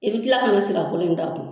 I bɛ kila ka na nsira kolo in ta kun